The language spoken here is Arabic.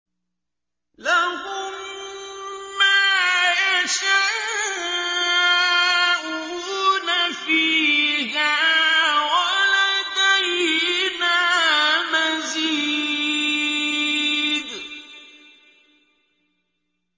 لَهُم مَّا يَشَاءُونَ فِيهَا وَلَدَيْنَا مَزِيدٌ